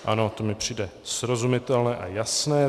Ano, to mi přijde srozumitelné a jasné.